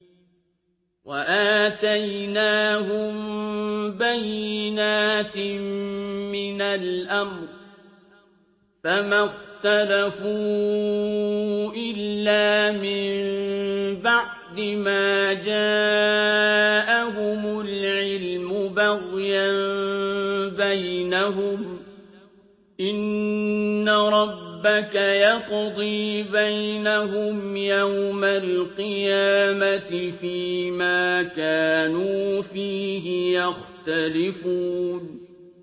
وَآتَيْنَاهُم بَيِّنَاتٍ مِّنَ الْأَمْرِ ۖ فَمَا اخْتَلَفُوا إِلَّا مِن بَعْدِ مَا جَاءَهُمُ الْعِلْمُ بَغْيًا بَيْنَهُمْ ۚ إِنَّ رَبَّكَ يَقْضِي بَيْنَهُمْ يَوْمَ الْقِيَامَةِ فِيمَا كَانُوا فِيهِ يَخْتَلِفُونَ